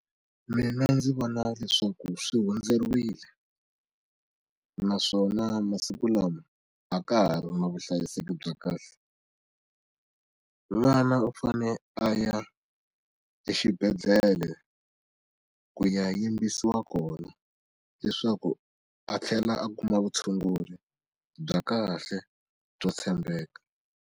Mina ndzi vona leswaku swi hundzeriwile naswona masiku lama a ka ha ri na vuhlayiseki bya kahle n'wana u fane a ya exibedhlele ku ya yimbisiwa kona leswaku a tlhela a kuma vutshunguri bya kahle byo tshembeka.